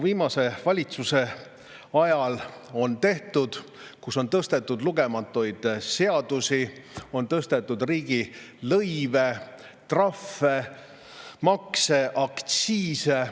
Viimase valitsuse ajal on tehtud lugematu arv seadusi: on tõstetud riigilõive, trahve, makse, aktsiise.